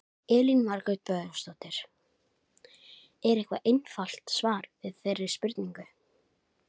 Elín Margrét Böðvarsdóttir: Er eitthvað einfalt svar við þeirri spurningu?